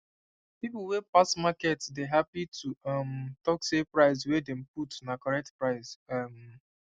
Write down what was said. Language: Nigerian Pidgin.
people wey pass market dey happy to um talk say price wey dem put na correct price um